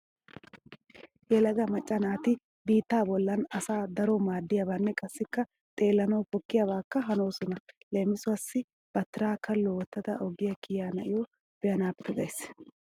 Yelaga macca naati biittaa bollan asawu daro maadiyabanne qassikka xeellanawu pokkiyabaakka hanoosona. Leemisuwawu ba tira kallo wottada oge kiya na'iyo be'anaappe gays.